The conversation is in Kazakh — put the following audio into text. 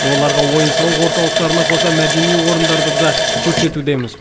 оларға ойын сауық орталықтарына қоса мәдени орындарды да көрсетудеміз